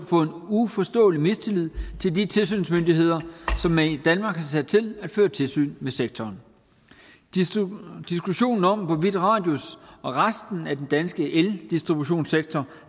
uforståelig mistillid til de tilsynsmyndigheder som man i danmark sat til at føre tilsyn med sektoren diskussionen om hvorvidt radius og resten af den danske eldistributionssektor